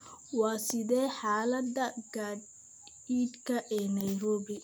Waa sidee xaalada gaadiidka ee Nairobi?